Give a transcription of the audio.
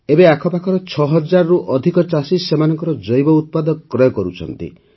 ଏବେ ଆଖପାଖର ୬ ହଜାରରୁ ଅଧିକ ଚାଷୀ ସେମାନଙ୍କର ଜୈବ ଉତ୍ପାଦ କ୍ରୟ କରୁଛନ୍ତି